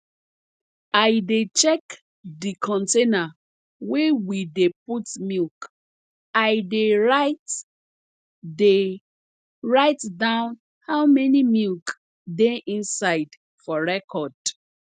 i dey check de container wey we dey put milk i dey write dey write down how many milk dey inside for record